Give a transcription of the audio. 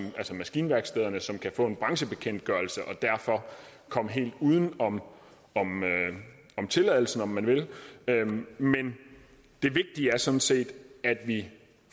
maskinværkstederne som kan få en branchebekendtgørelse og derfor komme helt uden om tilladelsen om man vil men det vigtige er sådan set at vi